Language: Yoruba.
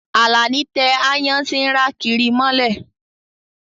Alani tẹ àayan ti ǹra kiri molẹ